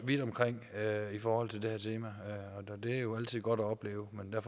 vidt omkring i forhold til det her tema det er jo altid godt at opleve men